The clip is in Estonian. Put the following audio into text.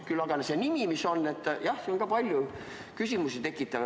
Nüüd aga see nimi, mis on palju küsimusi tekitanud.